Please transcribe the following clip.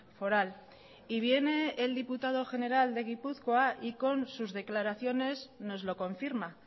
foral y viene el diputado general de gipuzkoa y con sus declaraciones nos lo confirma